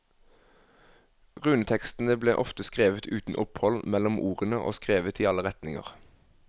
Runetekstene ble ofte skrevet uten opphold mellom ordene og skrevet i alle retninger.